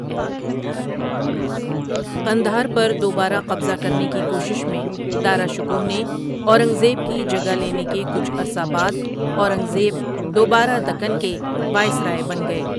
قندھار پر دوبارہ قبضہ کرنے کی کوشش میں دارا شکوہ نے اورانگزیب کی جگہ لینے کے کچھ عرصہ بعد، اورنگ زیب دوبارہ دکن کے وائسرائے بن گئے۔